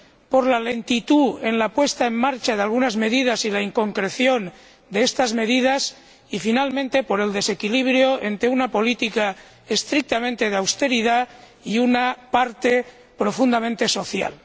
por la lentitud en la puesta en marcha de algunas medidas y la inconcreción de las mismas y, finalmente, por el desequilibrio entre una política estrictamente de austeridad y una parte profundamente social.